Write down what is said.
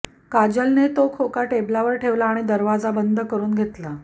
काजलने तो खोका टेबलवर ठेवला आणि दरवाजा बंद करून घेतला